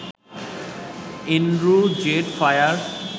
Andrew Z fire